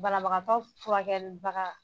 Banabagatɔ furakɛlibaga